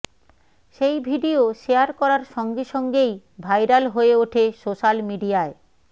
সেই video share করার সঙ্গে সঙ্গেই ভাইরাল হয়ে ওঠে সোশ্যাল মিডিয়ায়